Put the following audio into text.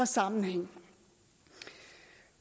sammenhæng